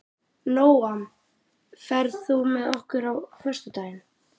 Nóam, ferð þú með okkur á föstudaginn?